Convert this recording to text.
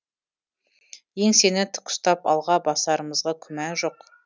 еңсені тік ұстап алға басарымызға күмән жоқ